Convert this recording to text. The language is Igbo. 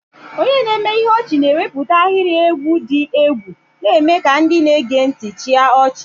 Onye na-eme ihe ọchị na-ewepụta ahịrị egwu dị egwu, na-eme ka ndị na-ege ntị chịa ọchị.